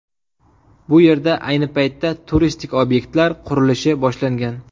Bu yerda ayni paytda turistik obyektlar qurilishi boshlangan.